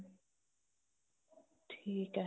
ਠੀਕ ਐ